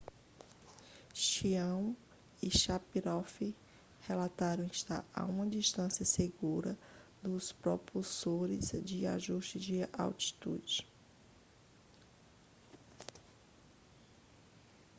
chiao e sharipov relataram estar a uma distância segura dos propulsores de ajuste de atitude